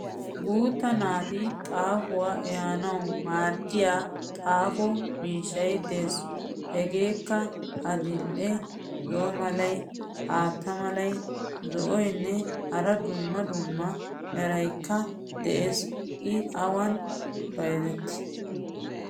Guutta naati xaafuwa eeanawu maaddiya xaafo miishshay des. Hegeekka adil'e so Malay, aata Malay, zo'oynnee hara dumma dumma merayikka des. I awan bayizetti?